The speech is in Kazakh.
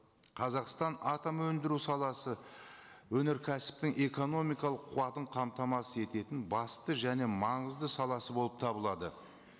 қазақстан атом өндіру саласы өнеркәсіптің экономикалық қуатын қамтамасыз ететін басты және маңызды саласы болып табылады